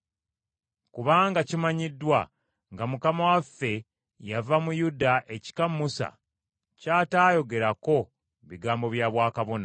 Kubanga kimanyiddwa nga Mukama waffe yava mu Yuda ekika Musa ky’ataayogerako bigambo bya bwakabona.